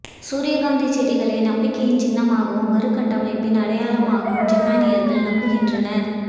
சூரியகாந்தி செடிகளை நம்பிக்கையின் சின்னமாகவும் மறுகட்டமைப்பின் அடையாளமாகவும் ஜப்பானியர்கள் நம்புகின்றனர்